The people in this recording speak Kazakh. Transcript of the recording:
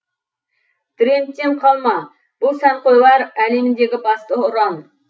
трендтен қалма бұл сәнқойлар әлеміндегі басты ұран